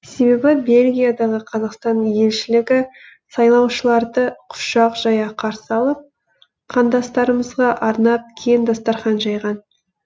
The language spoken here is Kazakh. себебі бельгиядағы қазақстан елшілігі сайлаушыларды құшақ жая қарсы алып қандастарымызға арнап кең дастархан жайған